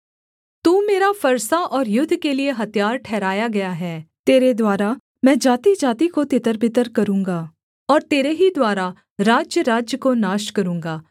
तू मेरा फरसा और युद्ध के लिये हथियार ठहराया गया है तेरे द्वारा मैं जातिजाति को तितरबितर करूँगा और तेरे ही द्वारा राज्यराज्य को नाश करूँगा